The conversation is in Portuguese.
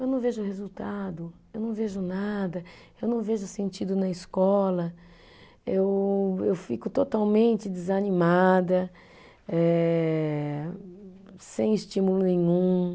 Eu não vejo resultado, eu não vejo nada, eu não vejo sentido na escola, eu eu fico totalmente desanimada eh, sem estímulo nenhum.